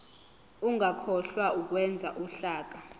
ungakhohlwa ukwenza uhlaka